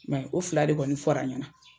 Mɛ o fila de kɔni fɔra n ɲɛna.